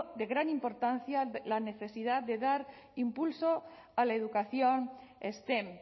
de gran importancia la necesidad de dar impulso a la educación stem